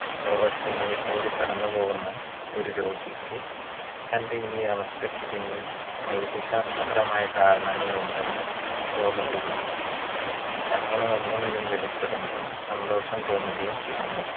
neurasthenia യിൽ കൂടി കടന്നുപോവുന്ന ഒരു രോഗിക്ക് തന്റെ ഈ അവസ്ഥയ്ക്ക് പിന്നിൽ വൈദ്യശാസ്ത്രപരമായ കാരണങ്ങൾ ഉണ്ടെന്ന്‌ തോന്നുകയും അങ്ങനെ എന്തെങ്കിലും വെളിപ്പെടുമ്പോൾ സന്തോഷം തോന്നുകയും ചെയ്യുന്നു